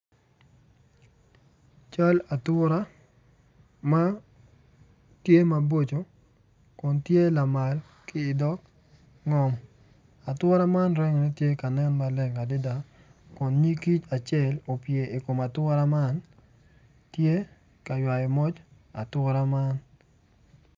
Cal atura manen maboco kun tye lamal ki dog ngom ature man rangi ne tye ka nen maleng adada kun nyig kic acel opye i kom ature man tye ka ywao moc ature man.